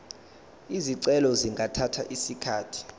izicelo zingathatha isikhathi